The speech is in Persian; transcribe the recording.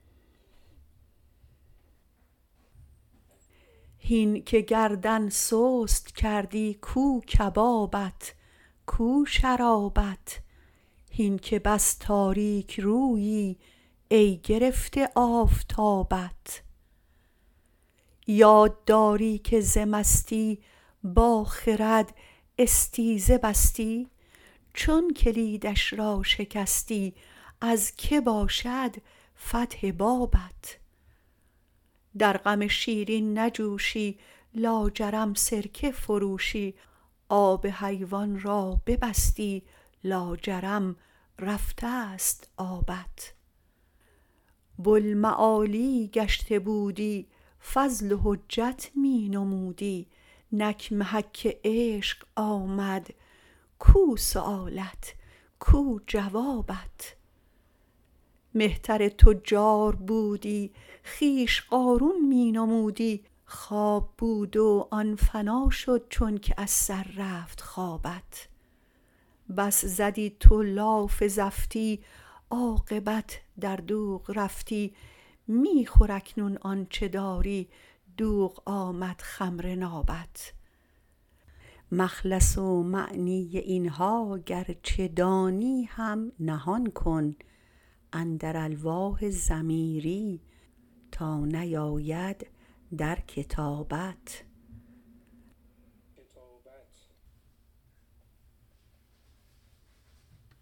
هین که گردن سست کردی کو کبابت کو شرابت هین که بس تاریک رویی ای گرفته آفتابت یاد داری که ز مستی با خرد استیزه بستی چون کلیدش را شکستی از که باشد فتح بابت در غم شیرین نجوشی لاجرم سرکه فروشی آب حیوان را ببستی لاجرم رفته ست آبت بوالمعالی گشته بودی فضل و حجت می نمودی نک محک عشق آمد کو سؤالت کو جوابت مهتر تجار بودی خویش قارون می نمودی خواب بود و آن فنا شد چونکه از سر رفت خوابت بس زدی تو لاف زفتی عاقبت در دوغ رفتی می خور اکنون آنچ داری دوغ آمد خمر نابت مخلص و معنی این ها گرچه دانی هم نهان کن اندر الواح ضمیری تا نیاید در کتابت